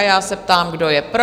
A já se ptám, kdo je pro?